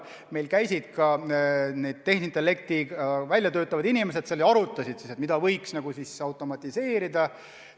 Meie juures käisid ka tehisintellekti välja töötavad inimesed ja arutasid, mida võiks automatiseerida.